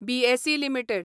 BSE limited